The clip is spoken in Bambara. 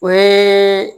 O ye